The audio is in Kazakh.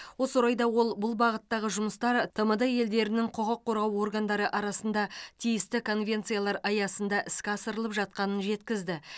осы орайда ол бұл бағыттағы жұмыстар тмд елдерінің құқық қорғау органдары арасында тиісті конвенциялар аясында іске асырылып жатқанын жеткізді